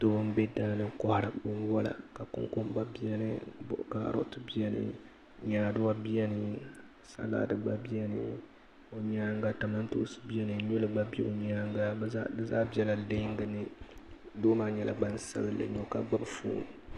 doo m-be daa ni n kɔhiri binwala konkomba beni ka karooti beni nyaaduwa beni salaadi gba beni o nyaanga kamantoonsi beni nyuli gba be o nyaanga bɛ zaa bela leenga ni doo maa nyɛla gbansabinlli ka gbubi foon